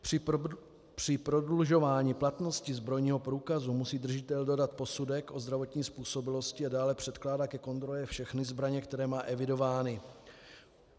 Při prodlužování platnosti zbrojního průkazu musí držitel dodat posudek o zdravotní způsobilosti a dále předkládat ke kontrole všechny zbraně, které má evidovány.